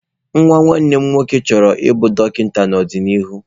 Nwa nwanne m nwoke chọrọ ịbụ dọkịta n'ọdịnihu.